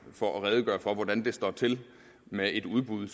for at redegøre for hvordan det står til med et udbud